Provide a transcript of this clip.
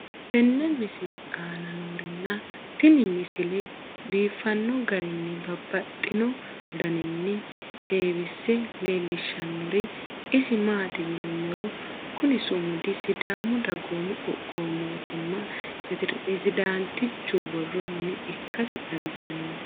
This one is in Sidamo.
tenne misile aana noorina tini misile biiffanno garinni babaxxinno daniinni xawisse leelishanori isi maati yinummoro kunni sumudi sidaamu dagoomu qoqqowi mootimma pirezidaantichu borro mine ikkassi xawissanno